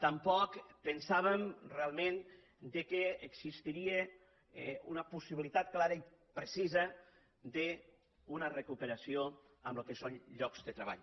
tampoc pensàvem realment que existiria una possibilitat clara i precisa d’una recuperació en el que són llocs de treball